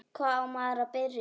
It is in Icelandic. Hvar á maður að byrja?